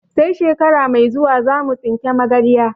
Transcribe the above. Sai shekara mai zuwa zamu tsinka magarya